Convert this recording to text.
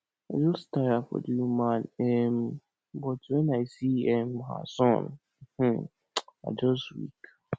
just tire for the woman um but when i see um her son um i just weak